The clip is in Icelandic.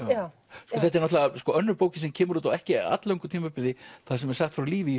þetta er náttúrulega önnur bókin sem kemur út á ekki all löngu tímabili þar sem er sagt frá lífi í